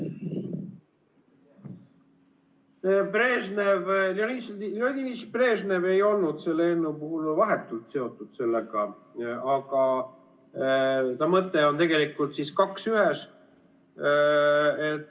Leonid Iljitš Brežnev ei olnud selle eelnõuga vahetult seotud, aga mõte on tegelikult kaks ühes.